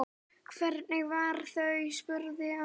Hvenær fara þau? spurði amma.